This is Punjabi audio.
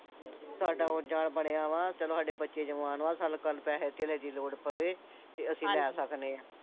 ਸਾਡਾ ਆਉਣ ਜਾਣ ਬਣਿਆ ਵਾਂ ਚਲੋ ਸਾਡੇ ਬੱਚੇ ਜਵਾਨ ਵਾ ਸਾਨੂੰ ਕੱਲ ਨੂੰ ਪੈਸੇ ਧੇਲੇ ਦੀ ਲੋੜ ਪਵੇ ਤੇ ਅਸੀਂ ਹਾਂਜੀ ਲੈ ਸਕਦੇ ਆ